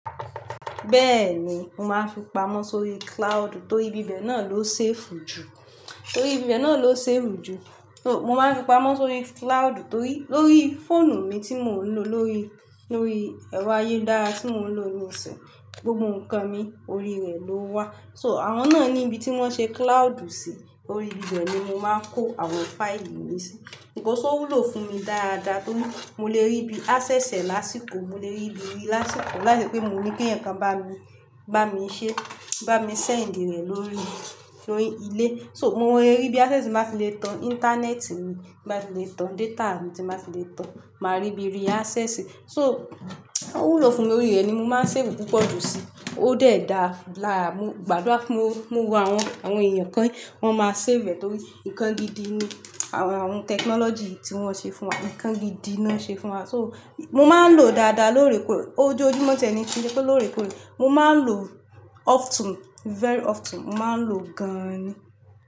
Bẹ́ẹ̀ ni, mo máa ń fi pamọ́ sí orí cloud, torí ibi bẹ́ẹ̀ náà ló safe jù. Torí ibi bẹ́ẹ̀ náà ló safe jù. Mo máa ń fi pamọ́ sí orí cloud torí lórí fóònù mi tí mo ń lò, lórí ẹ̀rọ ayélújára tí mo ń lò nísìnyí, gbogbo nǹkan mi orí rẹ̀ lówà. So àwọn náà ni ibi tí wọ́n ṣe cloud sí, orí ibi bẹ́ẹ̀ ni mo máa ń kó àwọn faíìlì mi sí. Because ó wúlò fún mi dáadáa torí mo lè rí bí access ẹ lásìkò, mo lè rí bí rí lásìkò láìṣẹ́ pé mo ní kí ẹ̀yàn kan bá mi, bá mi ṣẹ́, bá mi send rẹ̀ lórí, lórí ilé. So mo lè rí bí access máa fi lè tan ìntanẹ́ẹ̀tì mi, máa fi lè tan data mi, tí máa fi lè tan, máa rí bí rí access. So ó wúlò fún mi, orí rẹ ni mo máa ń save púpọ̀ jù sí. Ó dẹ̀ da láàárin, gbàdúrà fún mo, mo wo àwọn, àwọn èèyàn kan wọ́n máa save rẹ̀ torí nǹkan gidi ni àwọn, àwọn tẹkinọ́lọ́jì tí wọ́n ṣe fún wa, nǹkan gidi ni wọ́n ṣe fún wa. So mo máa ń lòó dáadáa lóòrèkóòrè, ojú júmọ́ tẹ́ni sì kó lóòrèkóòrè. Mo máa ń lò often, very often, mo máa ń lò gan-an ni.